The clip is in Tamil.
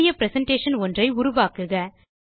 புதிய பிரசன்டேஷன் ஒன்றை உருவாக்குக